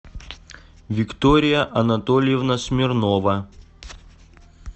виктория анатольевна смирнова